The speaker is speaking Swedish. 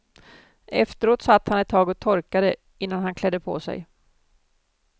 Efteråt satt han ett tag och torkade innan han klädde på sig.